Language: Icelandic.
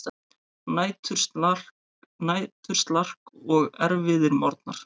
Næturslark og erfiðir morgnar.